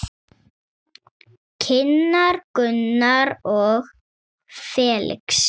Kynnar Gunnar og Felix.